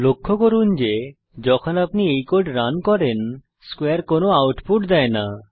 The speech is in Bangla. লক্ষ্য করুন যে যখন আপনি এই কোড রান করেন স্কোয়ারে কোন আউটপুট দেয় না